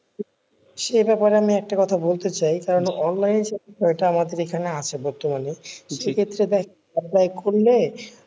সে ব্যাপারে আমি একটা কথা বলতে চাই কারণ আমাদের এখানে আছে বর্তমানে সে ক্ষেত্রে দেখ apply করলে,